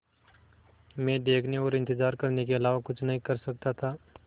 मैं देखने और इन्तज़ार करने के अलावा कुछ नहीं कर सकता था